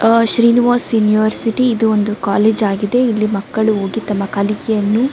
ಆ ಶ್ರೀನಿವಾಸ್ ಯೂನಿವರ್ಸಿಟಿ ಇದು ಒಂದು ಕಾಲೇಜ್ ಆಗಿದೆ ಇಲ್ಲಿ ಮಕ್ಕಳು ಓದಿ ತಮ್ಮ ಕಲಿಕೆಯನ್ನು.